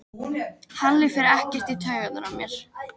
Halli fer ekkert í taugarnar á mér.